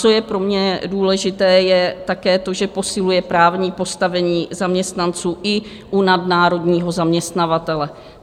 Co je pro mě důležité je také to, že posiluje právní postavení zaměstnanců i u nadnárodního zaměstnavatele.